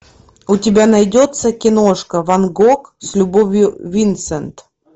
у тебя найдется киношка ван гог с любовью винсент